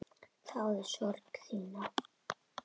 Þáði sorg þína.